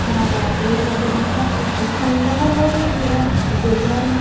हरा-हरा पेड़-पौधा ह दिखा थे अऊ खंडहर होंगे हे पूरा ओदे घर ह--